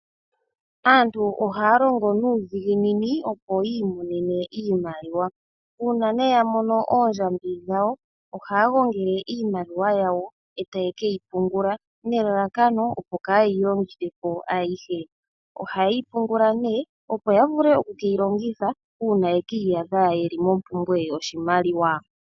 Aantu ohaya longo nuudhiginini, opo yi imonene iimaliwa. Uuna ya mono oondjambi dhawo ohaya gongele iimaliwa yawo e taye ke yi pungula nelalakano, opo kaaye yi longithe po ayihe. Ohaye yi pungula, opo ya vule okuke yi longitha uuna ye ki iyadha ye li mompumbwe yoshimaliwa.